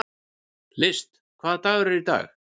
List, hvaða dagur er í dag?